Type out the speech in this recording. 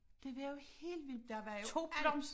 Det var jo helt vildt der var jo alt